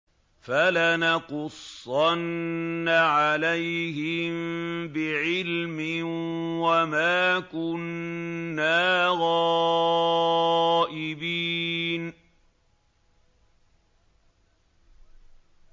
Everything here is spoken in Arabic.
فَلَنَقُصَّنَّ عَلَيْهِم بِعِلْمٍ ۖ وَمَا كُنَّا غَائِبِينَ